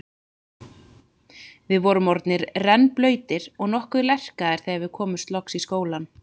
Við vorum orðnir rennblautir og nokkuð lerkaðir þegar við komumst loks í skólann.